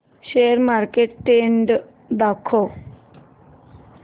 share market trend दाखव